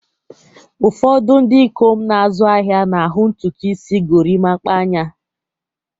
Ụfọdụ ndị ikom na-azụ ahịa na-ahụ ntutu isi gorimapa n'anya